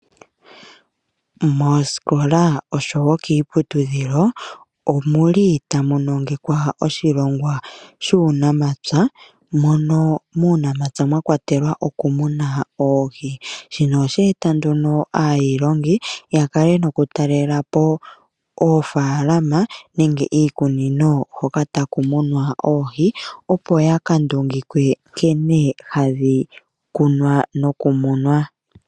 Moosikola osho wo kiiputudhilo ohamu nongekwa oshilongwa shuunamapya nuuniimuna. Muunamapya omwakwatelwa oohi, shino osheeta aayilongi yakale noku talela po oofaalama nenge iikunino hoka taku munwa oohi opo yaka ndungikwe nkene hadhi kunwa noku munwa.